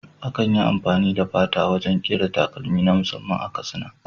Akan yi amfani da fata wajen ƙera takalmi na musamman a Katsina.